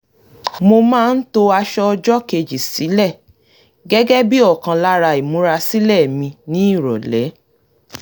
mo máa ń to aṣọ ọjọ́kejì sílẹ̀ gẹ́gẹ́ bí òkan lára ìmúra sílẹ̀ mi ní ìrọ̀lẹ́